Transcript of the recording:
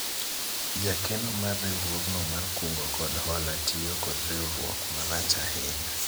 jakeno mar riwruogno mar kungo kod hola tiyo kod riwruok marach ahinya